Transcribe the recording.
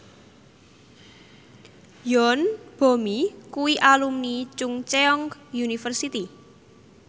Yoon Bomi kuwi alumni Chungceong University